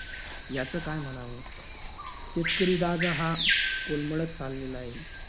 याचं काय म्हणावं? शेतकरी राजा हा कोलमडत चाललेला आहे.